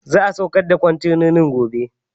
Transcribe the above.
Za a saukar da kwantenonin gobe